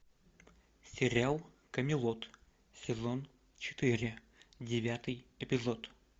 сериал камелот сезон четыре девятый эпизод